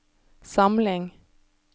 samling